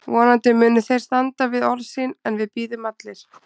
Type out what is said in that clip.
Vonandi munu þeir standa við orð sín en við bíðum allir.